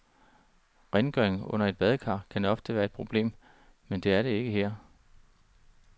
Rengøringen under et badekar kan ofte være et problem, men det er det ikke her.